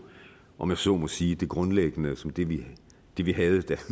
om jeg så må sige det grundlæggende som det vi det vi havde da